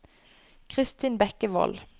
Christin Bekkevold